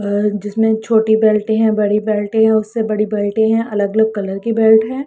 जिसमें छोटी बेल्ट हैं बड़ी बेल्ट हैं उससे बड़ी बेल्ट हैं अलग-अलग कलर की बेल्ट है।